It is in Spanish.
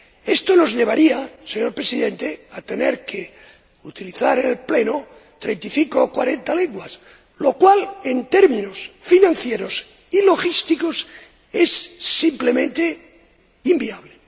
Esto nos llevaría, señor Presidente, a tener que utilizar en el Pleno treinta y cinco o cuarenta lenguas, lo cual, en términos financieros y logísticos, es simplemente inviable.